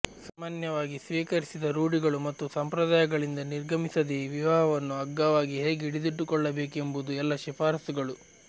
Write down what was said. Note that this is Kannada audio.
ಸಾಮಾನ್ಯವಾಗಿ ಸ್ವೀಕರಿಸಿದ ರೂಢಿಗಳು ಮತ್ತು ಸಂಪ್ರದಾಯಗಳಿಂದ ನಿರ್ಗಮಿಸದೆಯೇ ವಿವಾಹವನ್ನು ಅಗ್ಗವಾಗಿ ಹೇಗೆ ಹಿಡಿದಿಟ್ಟುಕೊಳ್ಳಬೇಕೆಂಬುದು ಎಲ್ಲ ಶಿಫಾರಸುಗಳು